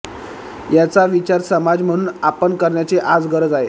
याचा विचार समाज म्हणून आपण करण्याची आज गरज आहे